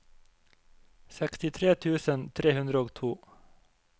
sekstitre tusen tre hundre og to